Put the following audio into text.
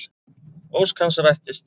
Ósk hans rættist.